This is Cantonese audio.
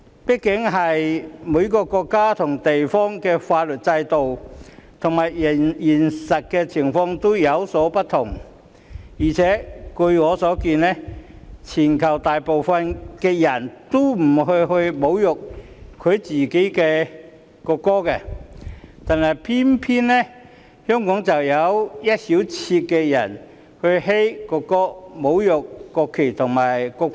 畢竟每個國家及地方的法律制度和現實情況均有所不同，而且據我所見，全球大部分的人也不會侮辱自己的國歌，但偏偏香港卻有一小撮人"噓"國歌，侮辱國旗和國徽。